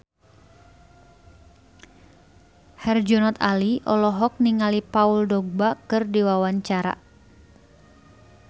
Herjunot Ali olohok ningali Paul Dogba keur diwawancara